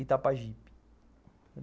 Itapajipe.